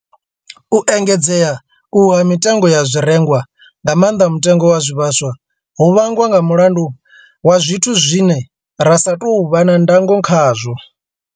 U engedzea uhu ha mitengo ya zwirengwa, nga maanḓa mutengo wa zwivhaswa, ho vhangwa nga mulandu wa zwithu zwine ra sa tou vha na ndango khazwo.